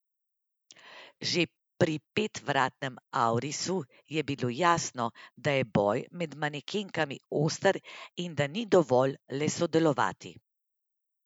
Že pri petvratnem aurisu je bilo jasno, da je boj med manekenkami oster in da ni dovolj le sodelovati.